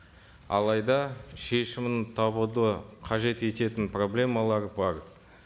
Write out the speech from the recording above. алайда шешімін табуды қажет ететін проблемалар бар